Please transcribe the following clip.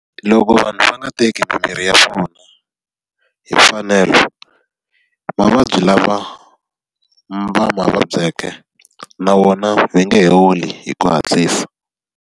Loko vanhu va nga teki mimiri ya vona hi mfanelo, mavabyi lama va ma vabyeke na wona va nge he holi hi ku hatlisa.